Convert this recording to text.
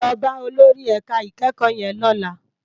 Lò bá ólórì èká ikèékò yèn lòlá